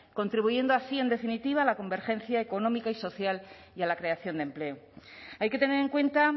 contribuyendo así en definitiva a la convergencia económica y social y a la creación de empleo hay que tener en cuenta